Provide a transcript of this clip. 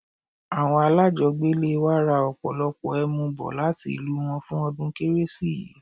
Awon alajogbele wa ra opolopo emu bo lati ilu won fun odun keresi yii